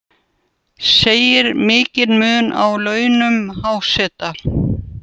Segir mikinn mun á launum háseta